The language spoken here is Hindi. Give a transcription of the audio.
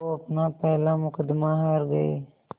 वो अपना पहला मुक़दमा हार गए